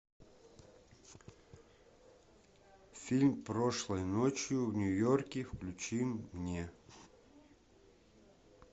фильм прошлой ночью в нью йорке включи мне